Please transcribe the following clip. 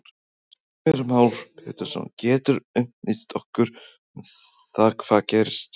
Heimir Már Pétursson: Geturðu upplýst okkur um það hvað gerðist hérna?